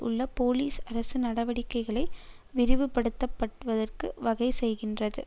உள்ள போலீஸ் அரசு நடவடிக்கைகளை விரிவுபடுத்தப்படுவதற்கு வகைசெய்கின்றது